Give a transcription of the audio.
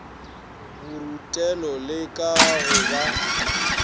borutelo le ka go ba